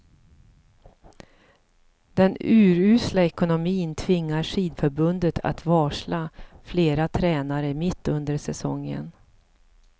Den urusla ekonomin tvingar skidförbundet att varsla flera tränare mitt under säsongen.